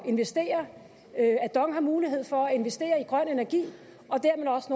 at investere at dong har mulighed for at investere i grøn energi og dermed også